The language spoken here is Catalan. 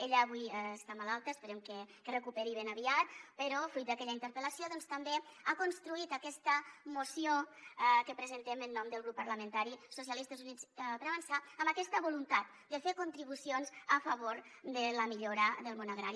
ella avui està malalta esperem que es recuperi ben aviat però fruit d’aquella interpel·lació doncs també ha construït aquesta moció que presentem en nom del grup parlamentari socialistes i units per a avançar amb aquesta voluntat de fer contribucions a favor de la millora del món agrari